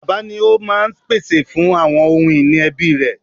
Bàbá ni ó máa ń pèsè fún àwọn ohun ìní ẹbí rẹ̀.